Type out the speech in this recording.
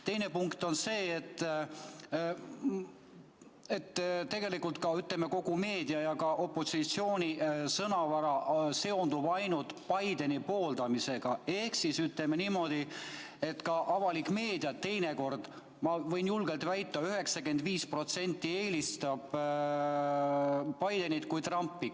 Teine punkt on see, et tegelikult kogu meedia ja ka opositsiooni sõnavara seondub ainult Bideni pooldamisega, ehk ütleme niimoodi, et ka avalik meedia teinekord, ma võin julgelt väita, et 95%, eelistab Bidenit, mitte Trumpi.